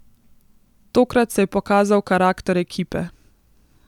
Tokrat se je pokazal karakter ekipe.